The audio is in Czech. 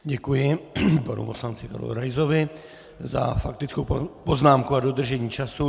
Děkuji panu poslanci Karlu Raisovi za faktickou poznámku a dodržení času.